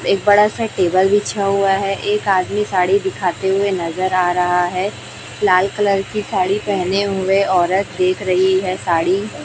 एक बड़ा सा टेबल बिछा हुआ है एक आदमी साड़ी दिखाते हुए नजर आ रहा है लाल कलर की साड़ी पहने हुए औरत देख रही है साड़ी।